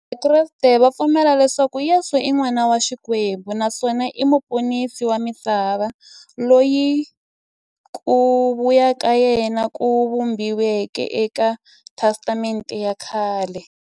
Vakreste va pfumela leswaku Yesu i n'wana wa Xikwembu naswona i muponisi wa misava, loyi ku vuya ka yena ku vhumbiweke e ka Testamente ya khale.